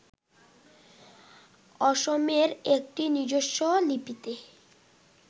অসমের একটি নিজস্ব লিপিতে